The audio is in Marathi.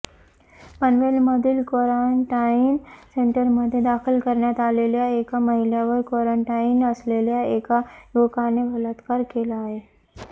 पनवेलमधील क्वारंटाईन सेंटरमध्ये दाखल करण्यात आलेल्या एका महिलेवर क्वारंटाईन असलेल्या एका युवकाने बलात्कार केला आहे